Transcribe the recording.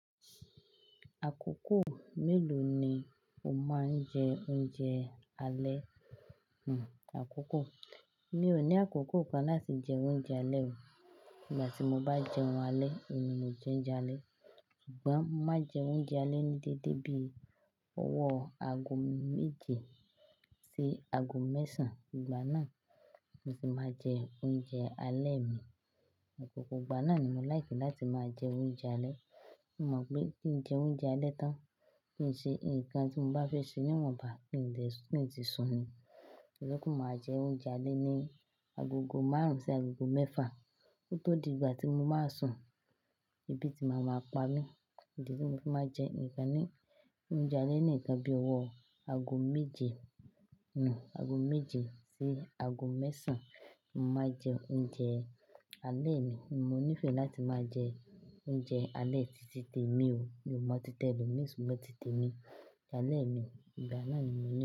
Àkókò mélòó ni o máa ń jẹ oúnjẹ alẹ́? Hmmm àkókò, mi ò ní àkókò kan láti jẹ oúnjẹ alẹ́ o. Nígbà tí mo bá jẹun alẹ́, ni mo jẹ oúnjẹ alẹ́. Ṣùgbọ́n má jẹ oúnjẹ alẹ́ ní déédé bíi ọwọ́ aago méje sí aago mẹ́sàn. Ìgbà náà ni mo sì máa jẹ oúnjẹ alẹ́ mi. Òpòpò ìgbà náà ni mo lìke láti máa jẹ oúnjẹ alẹ́. Mo mọ̀ pé kí n jẹ oúnjẹ alẹ́ tán kì í ṣe nǹkan tí mo bá fẹ́ ṣe, níwọ̀n bá, kì dè ki tún sun ni. Olóko mi máa jẹ oúnjẹ alẹ́ ní agogo márùn-ún sí agogo mẹ́fà. Ó tó di ìgbà tí mo máa sùn, ebi tí màá ma pa mí. Ìdí tí mo fi máa jẹ nǹkan ni, oúnjẹ alẹ́ nìkan bíi ọwọ́ aago méje, hmmm aago méje sí aago mẹ́sàn. Mo máa jẹ oúnjẹ alẹ́ mi, mo nífẹ̀ẹ́ láti máa jẹ oúnjẹ alẹ́ títí tèmi o. Mi ò mọ tí t'elomi ṣùgbọ́n tí tèmi. Alẹ́ mi ìgbà náà ni mo ní.